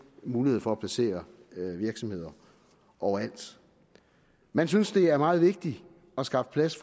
mulighed for at placere virksomheder overalt man synes det er meget vigtigt at skaffe plads